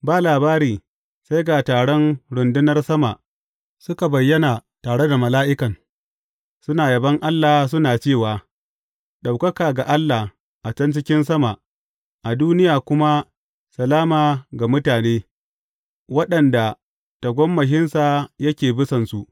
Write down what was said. Ba labari sai ga taron rundunar sama suka bayyana tare da mala’ikan, suna yabon Allah suna cewa, Ɗaukaka ga Allah a can cikin sama, a duniya kuma salama ga mutane waɗanda tagomashinsa yake bisansu.